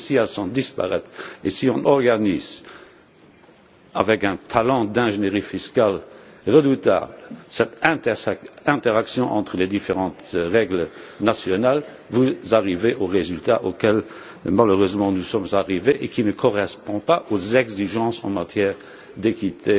Si celles ci sont disparates, et si on organise, avec un talent d'ingénierie fiscale redoutable, cette interaction entre les différentes règles nationales, vous arrivez au résultat auquel malheureusement nous sommes arrivés, qui ne correspond pas aux exigences en matière de d'équité